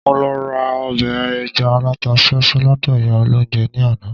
Mo lọ ra ọbẹ̀ ẹja alata súẹ́súẹ́ lọ́dọ̀ ìyá olóunjẹ ní àná